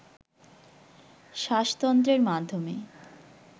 শ্বাসতন্ত্রের মাধ্যমে